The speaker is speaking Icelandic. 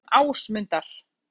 Funda um úrsögn Ásmundar